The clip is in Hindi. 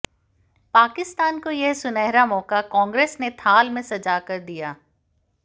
पाकिस्तान को यह सुनहरा मौका कांग्रेस ने थाल में सजा कर दिया